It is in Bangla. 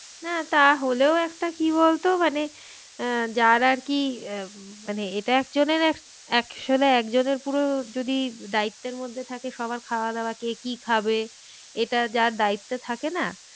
না তা হলেও একটা কি বলতো মানে আহ যার আর কি আহ মানে এটা একজনের এক, একজনের পুরো যদি দায়িত্বের মধ্যে থাকে সবার খাওয়া দাওয়া কে কি খাবে এটা যার দায়িত্বে থাকে না